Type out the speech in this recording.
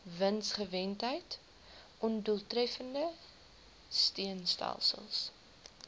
winsgewendheid ondoeltreffende steunstelsels